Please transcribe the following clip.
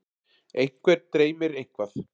einhvern dreymir eitthvað